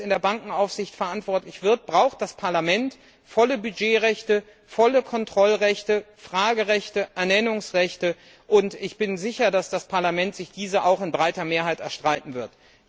Wenn sie jetzt für die Bankenaufsicht verantwortlich sein wird, braucht das Parlament volle Budgetrechte, volle Kontrollrechte, Fragerechte, Ernennungsrechte, und ich bin mir sicher, dass das Parlament sich diese auch mit breiter Mehrheit erstreiten wird.